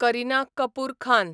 Kareena Kapoor Khan